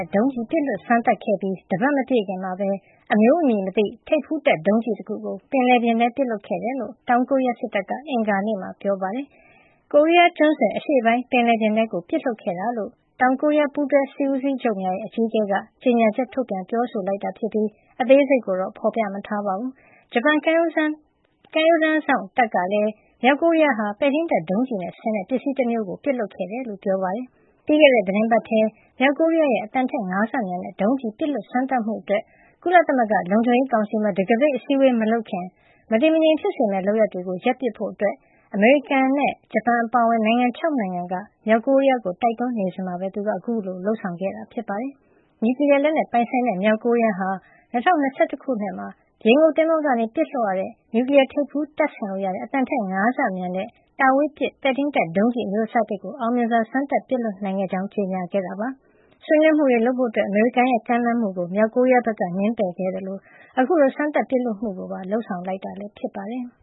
ဲ့ ဒုံးကျည် ပစ်လွှတ်စမ်းသပ်ခဲ့ပြီး တပတ်မပြည့်ခင်မှာပဲ အမျိုးအမည်မသိ ထိပ်ဖူးတပ် ဒုံးကျည်တခုကို ပင်လယ်ပြင်ထဲပစ်လွှတ်ခဲ့တယ်လို့ တောင်ကိုရီးယား စစ်တပ်က အင်္ဂါနေ့မှာ ပြောပါတယ်။ ကိုရီးယားကျွန်းဆွယ် အရှေ့ပိုင်းပင်လယ်ပြင်ထဲကို ပစ်လွှတ်ခဲ့တာလို့ တောင်ကိုရီးယား ပူးတွဲစစ်ဦးစီးချုပ်များရဲ့ အကြီးအကဲက ကြေညာချက် ထုတ်ပြန်ပြောဆိုတာ ဖြစ်ပြီး အသေးစိတ်ကိုတော့ ဖေါ်ပြမထားပါဘူး။ ဂျပန်ကမ်းရိုးတန်းစောင့် တပ်ကလည်း မြောက်ကိုရီးယားဟာ ပဲ့ထိန်းတပ်ဒုံးကျည်နဲ့ ဆင်တဲ့ ပစ္စည်းတမျိုးကို ပစ်လွှတ်ခဲ့တယ်လို့ ပြောပါတယ်။ ပြီးခဲ့တဲ့သီတင်းပတ်ထဲ မြောက်ကိုရီးယားက အသံထက် ၅ ဆမြန်တဲ့ ဒုံးကျည်လို့ ပြောတဲ့ ပစ်လွှတ်စမ်းသပ်မှုအတွက် ကုလသမဂ္ဂလုံခြုံရေးကောင်စီမှာ တံခါးပိတ်အစည်းအဝေး မလုပ်ခင် မတည်မငြိမ်ဖြစ်စေမယ့် လုပ်ရပ်တွေကို ရပ်ပစ်ဖို့ အမေရိကန်နဲ့ ဂျပန်အပါအဝင် နိုင်ငံ ၆ နိုင်ငံက မြောက်ကိုရီးယားကို တိုက်တွန်းနေစဉ်မှာ သူက အခုလို လုပ်ဆောင်ခဲ့တာ ဖြစ်ပါတယ်။ နျူကလီယားလက်နက်ပိုင်ဆိုင်တဲ့ မြောက်ကိုရီးယားက ၂၀၂၁ ခုနှစ်မှာ ရေငုပ်သင်္ဘောကနေ ပစ်လွှတ်ရတဲ့ နျူကလီယားထိပ်ဖူးတပ်ဆင်လို့ရတဲ့ အသံထက် ၅ ဆ မြန် တာဝေးပစ် ပဲ့ထိန်းတပ်ဒုံးကျည် အမျိုးစားအသစ်ကို အောင်မြင်စွာ စမ်းသပ်ပစ်လွှတ်နိုင်ခဲ့ကြောင်း ကြေညာခဲ့တာပါ။ ဆွေးနွေးမှုတွေ လုပ်ဖို့ အမေရိကန်ရဲ့ ကမ်းလှမ်းမှုကို မြောက်ကိုရီးယားက ငြင်းပယ်ခဲ့သလို အခုလို စမ်းသပ်ပစ်လွှတ်မှုကိုပါ လုပ်ဆောင်ခဲ့တာဖြစ်ပါတယ်။